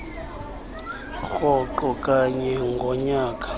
rhoqo kanye ngonyaka